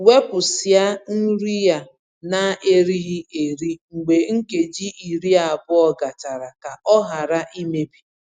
Wepusịa nri a na-erighi eri mgbe nkeji iri abụọ gachara ka ọ ghara imebi.